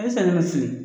A ye sannikɛla fili